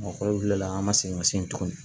Mɔgɔkɔrɔba wulila an ma segin ka se yen tuguni